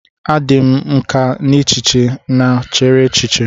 A dị m nkà n'echiche m chere eche.